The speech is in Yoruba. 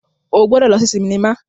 O gbọdọ lọ si sinima